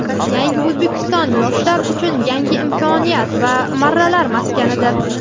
"Yangi O‘zbekiston" - yoshlar uchun yangi imkoniyat va marralar maskanidir.